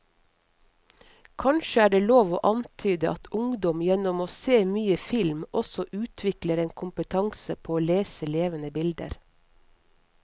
Kanskje er det lov å antyde at ungdom gjennom å se mye film også utvikler en kompetanse på å lese levende bilder.